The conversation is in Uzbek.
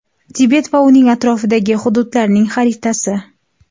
Tibet va uning atrofidagi hududlarning xaritasi.